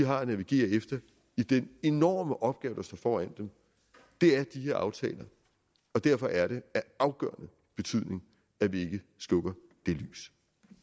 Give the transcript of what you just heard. har at navigere efter i den enorme opgave der står foran dem er de her aftaler og derfor er det af afgørende betydning at vi ikke slukker det lys